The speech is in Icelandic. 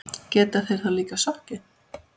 Geta þeir þá líka sokkið.